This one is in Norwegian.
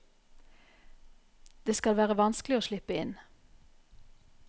Det skal være vanskelig å slippe inn.